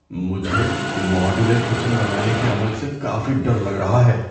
مجھے modular kitchen بنانے کے عمل سے کافی ڈر لگ رہا ہے۔